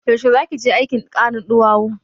Yaushe zaki je aikin karin ɗuwawu?